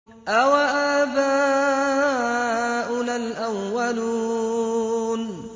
أَوَآبَاؤُنَا الْأَوَّلُونَ